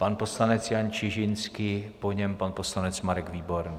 Pan poslanec Jan Čižinský, po něm pan poslanec Marek Výborný.